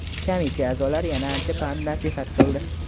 Komissiya a’zolari yana ancha pand-nasihat qildi.